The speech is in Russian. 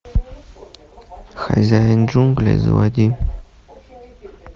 хозяин джунглей заводи